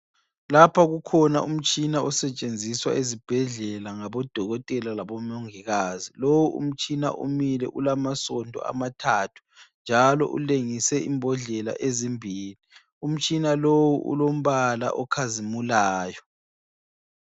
Lapha kukhona umtshina osetshenziswa ezibhedlela ngabodokotela labomongikazi. Lowu umtshina umile ulamasondo amathathu njalo ulengise imbodlela ezimbili. Umtshina lowu ulombala okhazimulayo.